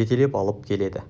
жетелеп алып келеді